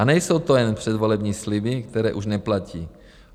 A nejsou to jen předvolební sliby, které už neplatí.